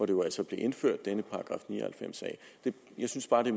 jo altså blev indført jeg synes bare det